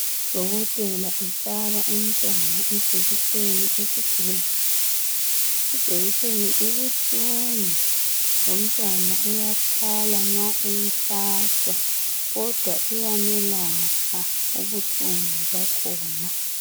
Udokotela ufaka umntwana ijekiseni esibhedlela. Ijekiseni ibuhlungu, lomntwana uyakhala uma eyuhlatshwa, kodwa iyamelapha ubuhlungu bakhona.